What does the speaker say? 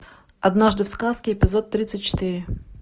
однажды в сказке эпизод тридцать четыре